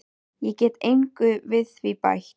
Ég get engu við þær bætt.